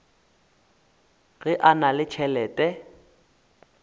ge a na le tšhelete